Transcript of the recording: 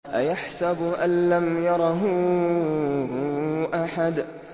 أَيَحْسَبُ أَن لَّمْ يَرَهُ أَحَدٌ